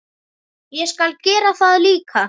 Ég skal gera það líka.